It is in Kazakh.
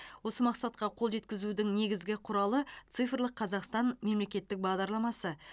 осы мақсатқа қол жеткізудің негізгі құралы цифрлық қазақстан мемлекеттік бағдарламасы